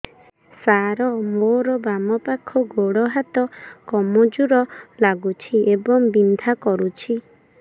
ସାର ମୋର ବାମ ପାଖ ଗୋଡ ହାତ କମଜୁର ଲାଗୁଛି ଏବଂ ବିନ୍ଧା କରୁଛି